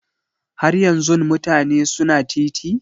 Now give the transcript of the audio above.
Har yanzun mutane su na titi?